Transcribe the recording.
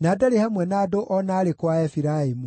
na ndarĩ hamwe na andũ o na arĩkũ a Efiraimu.